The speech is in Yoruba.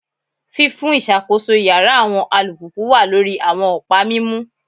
Fifun iṣakoso iyara awọn alupupu wa lori awọn ọpa mimu,